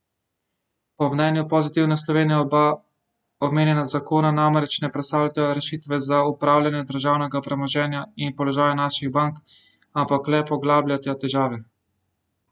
Po mnenju Pozitivne Slovenije oba omenjena zakona namreč ne predstavljata rešitve za upravljanje državnega premoženja in položaja naših bank, ampak le poglabljata težave.